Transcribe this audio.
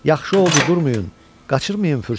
Yaxşı oldu, durmayın, qaçırmayın fürsəti.